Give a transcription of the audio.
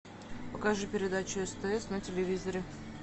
покажи передачу стс на телевизоре